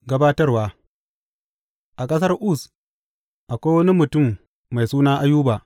Gabatarwa A ƙasar Uz akwai wani mutum mai suna Ayuba.